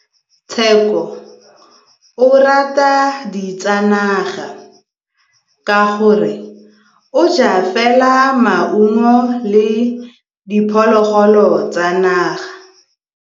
Tshekô o rata ditsanaga ka gore o ja fela maungo le diphologolo tsa naga.